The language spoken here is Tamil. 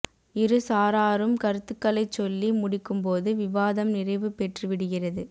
இரு சாராரும் கருத்துக்களைச் சொல்லி முடிக்கும்போது விவாதம் நிறைவு பெற்று விடுகிறது